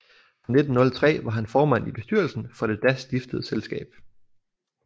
Fra 1903 var han formand i bestyrelsen for det da stiftede selskab